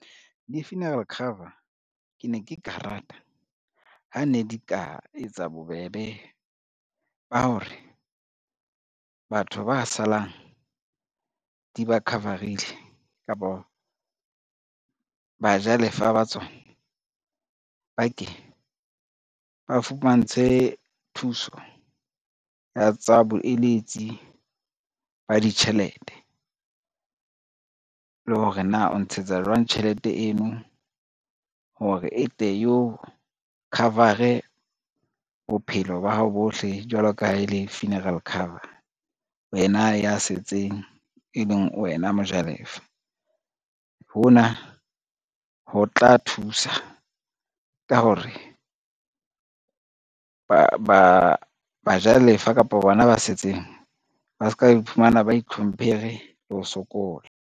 Di-funeral cover ke ne ke ka rata ha ne di ka etsa bobebe ba hore, batho ba salang di ba cover-ile kapo bajalefa ba tsona ba ke ba fumantshwe thuso ya tsa boeletsi ba ditjhelete. Le hore na o ntshetsa jwang tjhelete eno hore e tle e o cover-e bophelo ba hao bohle, jwalo ka ha e le funeral cover wena ya setseng, e leng wena mojalefa. Hona ho tla thusa ka hore bajalefa kapa bona ba setseng ba ska iphumana ba itlhomphere le ho sokola.